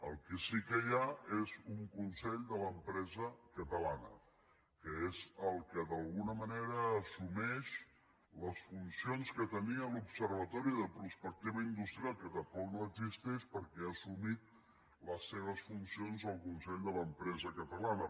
el que sí que hi ha és un consell de l’empresa catalana que és el que d’alguna manera assumeix les funcions que tenia l’observatori de prospectiva industrial que tampoc no existeix perquè ha assumit les seves funcions el consell de l’empresa catalana